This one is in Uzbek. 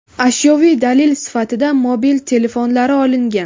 Ashyoviy dalil sifatida mobil telefonlari olingan.